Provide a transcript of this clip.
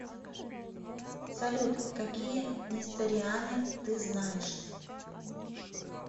салют какие несториане ты знаешь